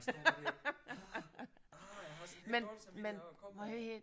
Man står der ah ah og har sådan lidt dårlig samvittighed over der kommer